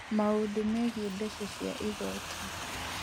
Maũndũ Megiĩ Mbeca cia Igooti: